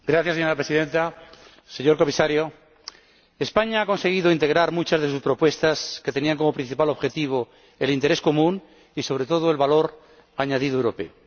Señora Presidenta, señor Comisario, España ha conseguido integrar muchas de sus propuestas que tenían como principal objetivo el interés común y, sobre todo, el valor añadido europeo.